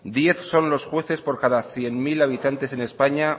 diez son los jueces por cada cien mil habitantes en españa